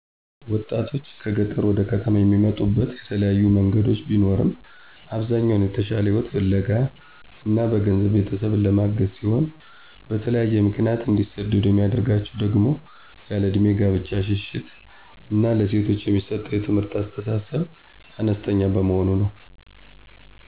ወጣቶችን ከገጠር ወደ ከተሞች የሚመጡበት የተለያዩ መንገዶች ቢኖርም አብዛኛው የተሻለ ህይወት ፍለጋ እና በገንዘብ ቤተሰብን ለማገዝ ሲሆን በተለያዬ ምክንያት እንዲሰደዱ የሚያደርጋቸው ደሞ ያለእድሜ ጋብቻ ሽሽት እና ለሴቶች የሚሰጠው የትምህርት አስተሳሰብ አነስተኛ በመሆኑ ነው።